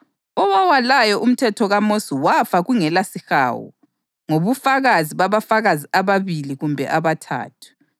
Kasingakudeli ukuhlangana, njengalokhu abanye abajayele ukukwenza kodwa kasikhuthazaneni ikakhulu njengoba sibona uSuku lusondela.